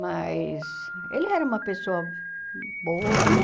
Mas ele era uma pessoa boa, né?